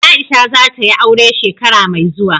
Aisha za ta yi aure shekara mai zuwa.